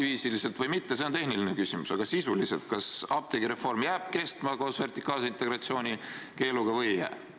Etapiviisi või mitte, see on tehniline küsimus, aga sisuliselt, kas apteegireform jääb kestma koos vertikaalse integratsiooni keeluga või ei jää?